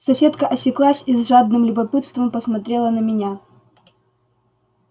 соседка осеклась и с жадным любопытством посмотрела на меня